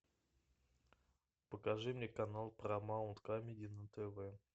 покажи мне канал парамаунт камеди на тв